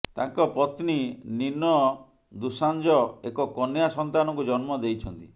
ତାଙ୍କ ପତ୍ନୀ ନିନ ଦୁସାଂଜ ଏକ କନ୍ୟା ସନ୍ତାନକୁ ଜନ୍ମ ଦେଇଛନ୍ତି